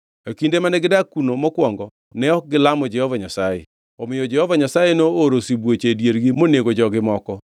E kinde mane gidak kuno mokwongo ne ok gilamo Jehova Nyasaye; omiyo Jehova Nyasaye nooro sibuoche e diergi monego jogi moko.